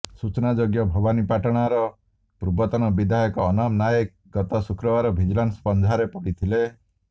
ସୂଚନାଯୋଗ୍ୟ ଭବାନୀପାଟଣାର ପୂର୍ବତନ ବିଧାୟକ ଅନାମ ନାଏକ ଗତ ଶୁକ୍ରବାର ଭିଜିଲାନ୍ସ ପଞ୍ଝାରେ ପଡିଥିଲେ